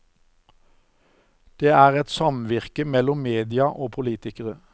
Det er et samvirke mellom media og politikere.